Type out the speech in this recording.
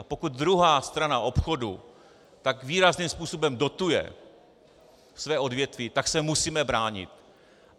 A pokud druhá strana obchodu tak výrazným způsobem dotuje svá odvětví, tak se musíme bránit.